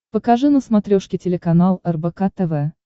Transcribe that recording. покажи на смотрешке телеканал рбк тв